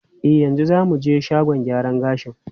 E, yanzu za mu je shagon gyaran gashi.